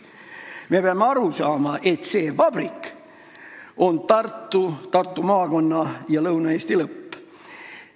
Me peame aru saama, et see vabrik on Tartu, Tartu maakonna ja terve Lõuna-Eesti lõpp.